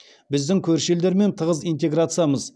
біздің көрші елдермен тығыз интеграциямыз